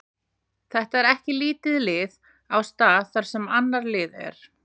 Þetta er ekki lítið lið á stað þar sem annað lið er.